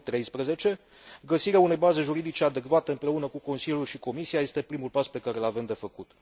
2013. Găsirea unei baze juridice adecvate, împreună cu Consiliul și Comisia, este primul pas pe care îl avem de făcut.